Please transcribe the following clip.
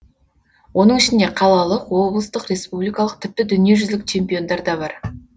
оның ішінде қалалық облыстық республикалық тіпті дүниежүзілік чемпиондар да бар